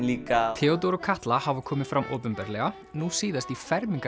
líka Theódór og Katla hafa komið fram opinberlega nú síðast í